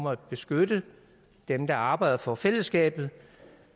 at beskytte dem der arbejder for fællesskabet